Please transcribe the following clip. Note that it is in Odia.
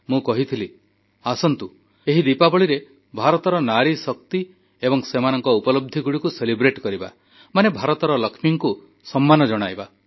ମୁଁ କହିଥିଲି ଆସନ୍ତୁ ଏହି ଦୀପାବଳିରେ ଭାରତର ନାରୀଶକ୍ତି ଏବଂ ସେମାନଙ୍କ ଉପଲବ୍ଧିଗୁଡ଼ିକୁ ପାଳନ କରିବା ମାନେ ଭାରତର ଲକ୍ଷ୍ମୀକୁ ସମ୍ମାନ ଜଣାଇବା